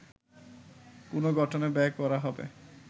পুনঃগঠনে ব্যয় করা হবে